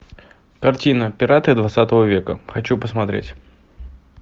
картина пираты двадцатого века хочу посмотреть